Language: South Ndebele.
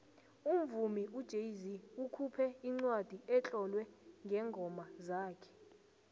umvumi ujay zee ukhuphe incwadi etlolwe ngeengoma zakhe